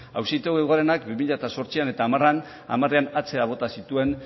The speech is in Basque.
auzitegi gorenak bi mila zortzian eta hamarean atzera bota zituen